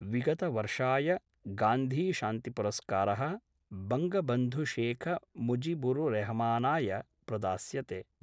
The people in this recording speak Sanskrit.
विगतवर्षाय गान्धीशान्तिपुरस्कार: बंगबन्धुशेखमुजिबुररेहमानाय प्रदास्यते।